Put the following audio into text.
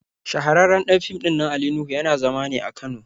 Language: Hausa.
Shahararren ɗan fim ɗinnan Ali Nuhu yana zama ne a Kano.